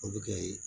O bɛ kɛ ye